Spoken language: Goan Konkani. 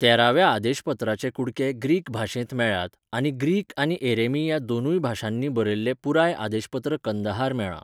तेराव्या आदेशपत्राचे कुडके ग्रीक भाशेंत मेळ्ळ्यात आनी ग्रीक आनी एरेमी ह्या दोनूय भाशांनी बरयल्लें पुराय आदेशपत्र कंदहार मेळ्ळां.